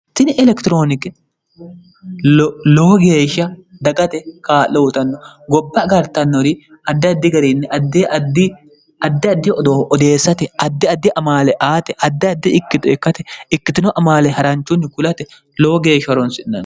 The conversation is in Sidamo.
tini elekitirooniki lowo geeshsha dagate kaa'loutanno gobba agartannori addi addi gariinni daddi addi odoo odeessate addi addi amaale aate addi addi ikkito ekkate ikkitino amaale haranchunni kulate lowo geeshsha ronsinano